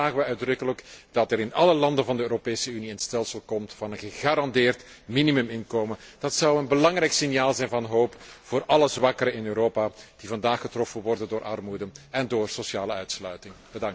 Daarom vragen we uitdrukkelijk dat er in alle landen van de Europese Unie een stelsel komt voor een gegarandeerd minimuminkomen. Dat zou een belangrijk signaal zijn van hoop voor alle zwakkeren in Europa, die vandaag getroffen worden door armoede en door sociale uitsluiting.